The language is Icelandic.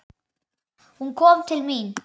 Hún kom til mín.